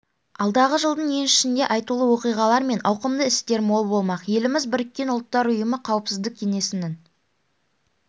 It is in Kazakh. алдағы жылдың еншісінде айтулы оқиғалар мен ауқымды істер мол болмақ еліміз біріккен ұлттар ұйымы қауіпсіздік кеңесінің